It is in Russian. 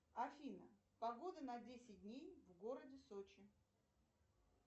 афина погода на десять дней в городе сочи